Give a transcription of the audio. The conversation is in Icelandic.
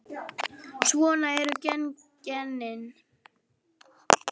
Svona eru genin.